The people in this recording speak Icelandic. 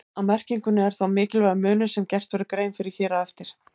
Á merkingunni er þó mikilvægur munur sem gert verður grein fyrir hér á eftir.